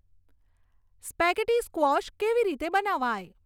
spaghetti squash કેવી રીતે બનાવાય